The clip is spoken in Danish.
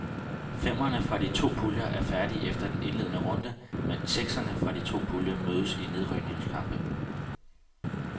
Femmerne fra de to puljer er færdige efter den indledende runde, mens sekserne fra de to puljer mødes i nedrykningskampe.